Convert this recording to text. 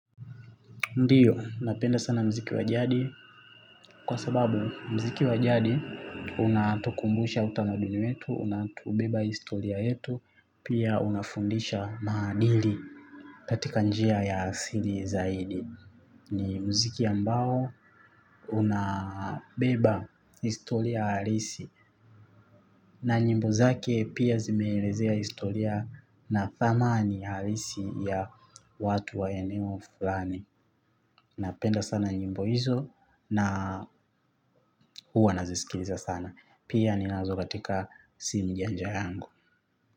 Ndio, napenda sana muziki wa jadi kwa sababu mziki wa jadi unatukumbusha utamaduni wetu, unatubeba historia yetu, pia unafundisha maadili katika njia ya asili zaidi. Ni muziki ambao unabeba historia halisi na nyimbo zake pia zimeelezea historia na thamani halisi ya watu wa eneo fulani. Napenda sana nyimbo hizo na huwa nazisikiliza sana. Pia ninazo katika simu janja yangu.